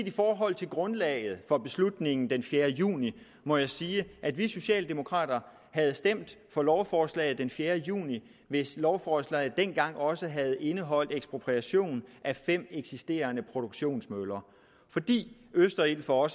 i forhold til grundlaget for beslutningen den fjerde juni må jeg sige at vi socialdemokrater havde stemt for lovforslaget den fjerde juni hvis lovforslaget dengang også havde indeholdt ekspropriation af fem eksisterende produktionsmøller fordi østerild for